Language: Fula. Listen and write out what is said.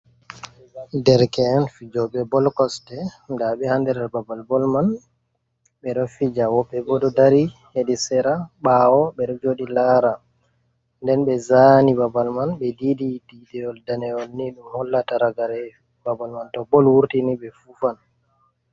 Dereke en fijoɓe bol kosɗe, nda ɓe ha nder babal bol man ɓe ɗo fija, woɓɓe ɓo ɗo dari hedi sera ɓaawo ɓe ɗo joɗi lara, nden ɓe zani babal man be didi didiwol danewol, ni ɗum hollata ragare babal man to bol wurtini ɓe fufan.